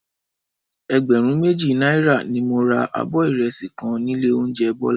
Ẹgbẹ̀rún méjì náírà ni mo ra abọ́ ìrẹsì kan nílé oúnjẹ Bọ́lá